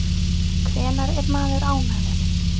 Hvenær er maður ánægður?